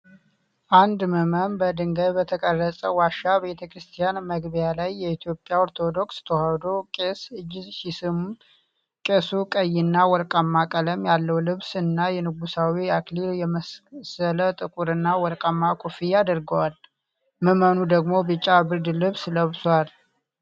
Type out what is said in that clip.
አንድ ምእመን በድንጋይ በተቀረጸ ዋሻ ቤተክርስቲያን መግቢያ ላይ የኢትዮጵያ ኦርቶዶክስ ተዋህዶ ቄስ እጅ ሲስም። ቄሱ ቀይና ወርቃማ ቀለም ያለው ልብስ እና የንጉሣዊ አክሊል የመሰለ ጥቁርና ወርቃማ ኮፍያ አድርገዋል። ምዕመኑ ደግሞ ቢጫ ብርድ ልብስ ለብሷል።